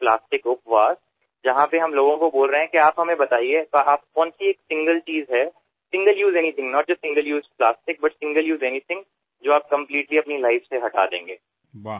plastic उपवास कसा करावा तर जेव्हा आम्ही लोकांना सांगतो की आपण आम्हाला सांगा अशी कोणती एक वस्तू आहे एक वस्तू केवळ प्लास्टिक नाही तर एकदाच वापरली जाणारी अशी कोणती गोष्ट आहे जी आपण पूर्णपणे आपल्या आयुष्यातून हद्दपार कराल